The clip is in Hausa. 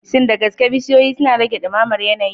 Shin da gaske bishiyoyi suna rage dumamar yanayi?